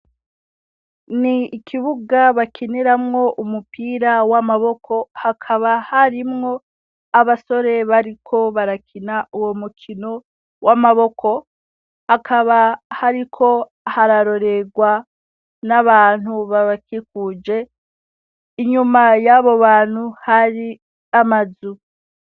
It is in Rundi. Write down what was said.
Ni ikibuga bakiniramwo umupira w'amaboko hakaba harimwo abasore bariko barakina uwo mukino w'amaboko. Hakaba hariko hararorerwa n'abantu babakikuje, inyuma y'abo bantu hari amazu.